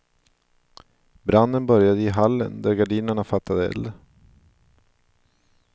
Branden började i hallen där gardinerna fattade eld.